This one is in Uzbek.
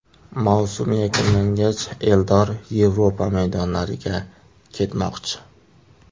Mavsum yakunlangach Eldor Yevropa maydonlariga ketmoqchi.